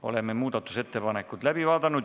Oleme muudatusettepanekud läbi vaadanud.